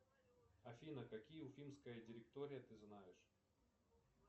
афина какие уфимская директория ты знаешь